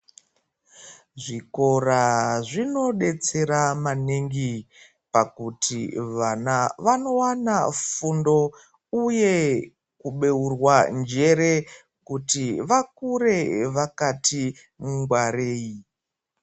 Zvikora zvinodetsera maningi pakuti vana vanowana fundo uye kubeurwa njere kuti vakure vakati ngwarei